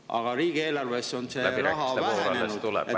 Aga riigieelarves on see raha vähenenud.